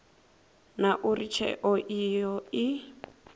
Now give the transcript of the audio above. na uri tsheo iyo i